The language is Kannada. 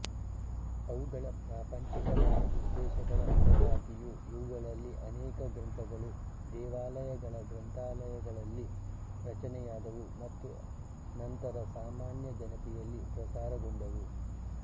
ಅವುಗಳ ಪ್ರಾಪಂಚಿಕವಾದ ಉದ್ದೇಶಗಳ ಹೊರತಾಗಿಯೂ ಇವುಗಳಲ್ಲಿ ಅನೇಕ ಗ್ರಂಥಗಳು ದೇವಾಲಯಗಳ ಗ್ರಂಥಾಲಯಗಳಲ್ಲಿ ರಚನೆಯಾದವು ಮತ್ತು ನಂತರ ಸಾಮಾನ್ಯ ಜನತೆಯಲ್ಲಿ ಪ್ರಸಾರಗೊಂಡವು